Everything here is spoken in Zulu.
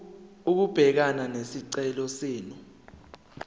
ukubhekana nesicelo senu